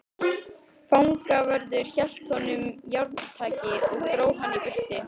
Fangavörður hélt honum járntaki og dró hann í burtu.